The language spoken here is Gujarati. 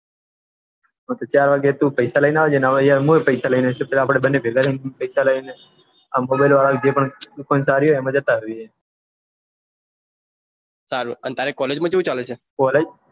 ચે વાગે પૈસા લઈને આવજે ના હોયતો અમે પન પૈસા લઈને આવસો આપડે બંને બેગ થઈને ને પૈસા લઇ અંદરોવાળાએ જે પન દુકાન પાળવી હાય તેમાં જતારહિએ તારે કોલેજ માં કેવું ચાલે છે